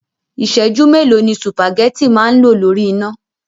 Ìsẹ̀jú mélòó ni sùpàgétì máa ń lò lórí iná?